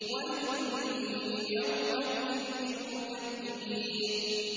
وَيْلٌ يَوْمَئِذٍ لِّلْمُكَذِّبِينَ